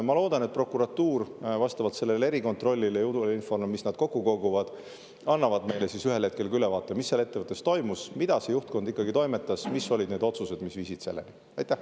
Ma loodan, et prokuratuur, vastavalt sellele erikontrollile ja infole, mis nad kokku koguvad, annab meile ühel hetkel ka ülevaate, mis seal ettevõttes toimus, mida juhtkond ikkagi toimetas, mis olid need otsused, mis selleni viisid.